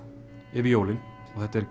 yfir jólin og þetta er